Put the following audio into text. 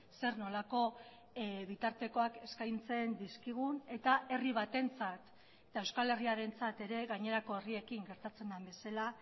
zer nolako bitartekoak eskaintzen dizkigun eta herri batentzat eta euskal herriarentzat ere gainerako herriekin gertatzen den bezala